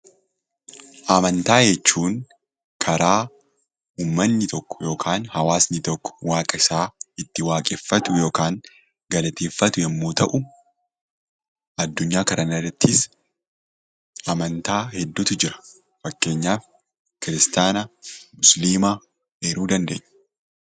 Amantaa jechuun karaa uummanni tokko yookaan hawaasni tokko waaqa isaa itti waaqeffatu yookaan galateeffatu yoo ta'u, addunyaa kanarratis amantaa hedduutu jira. Fakkeenyaaf kiristaana, musliima eeruu dandeenya.